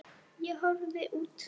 Ég horfi út.